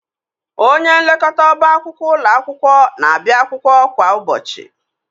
Onyenlekọta ọba akwụkwọ ụlọ akwụkwọ na-abịa akwụkwọ kwa ụbọchị.